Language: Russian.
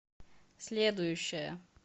следующая